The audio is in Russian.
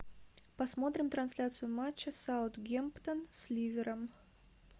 посмотрим трансляцию матча саутгемптон с ливером